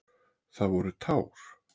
Það voru tár.